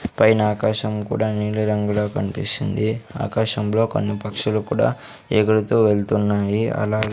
పైన ఆకాశం కూడా నీలి రంగులో కనిపిస్తుంది ఆకాశంలో కొన్ని పక్షులు కూడా ఎగుడుతూ వెళ్తున్నాయి అలా.